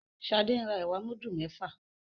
Shade ń rà ẹwà mudu méfà.